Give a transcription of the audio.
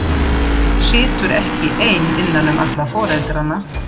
Situr ekki ein innan um alla foreldrana.